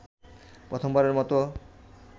প্রথমবারের মতো